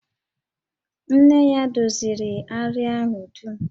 Nne ya doziri àrịá ahụ dum